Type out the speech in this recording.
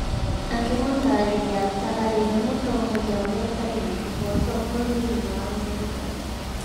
Akĩmũtaarĩria ta arĩ we mũtongoria ũrĩa ũtarĩ wa kĩhooto mũno thĩinĩ wa Amerika.